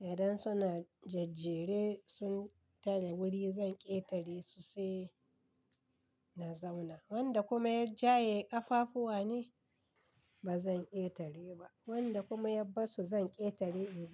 da dan suna jajjere sun tare wuri zan ƙetare su sai na zauna. Wanda kuma ya jaye kafafuwa nai ba zan ƙetare ba. Wanda kuma yab bassu zan ƙetare.